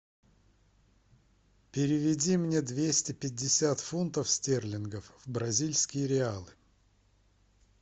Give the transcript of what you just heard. переведи мне двести пятьдесят фунтов стерлингов в бразильские реалы